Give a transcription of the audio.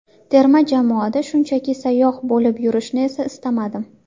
Terma jamoada shunchaki sayyoh bo‘lib yurishni esa istamadim.